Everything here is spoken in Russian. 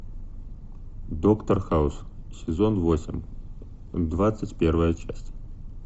доктор хаус сезон восемь двадцать первая часть